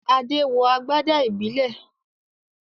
Adé wọ agbádá ìbílẹ̀